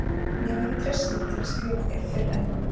Ég hef ekki treyst mér til að skrifa þér fyrr en nú.